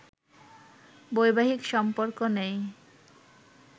বৈবাহিক সম্পর্ক নেই